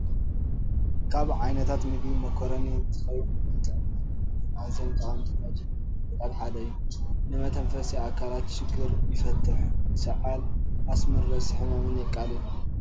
ካብ ዓይነታት ምግቢ ሞኮሮኒ እንትኸውን ንጥዕናን ጉልበትን ኣዝዮም ጠቐምቲ ካብ ዝባሃሉ ምግብታት ሓደ እዩ፡፡ ንመተንፈሲ ኣካላት ችግር ይፈትሕ፣ ሳዓል፣ ኣስምን ርእሲ ሕማምን የቃልል፡፡